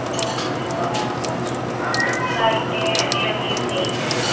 लोग खड़े हुए हैं यहां पर लाइटें लगी हुई हैं।